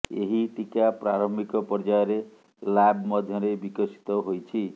ଏହି ଟୀକା ପ୍ରାରମ୍ଭିକ ପର୍ଯ୍ୟାୟରେ ଲ୍ୟାବ ମଧ୍ୟରେ ବିକଶିତ ହୋଇଛି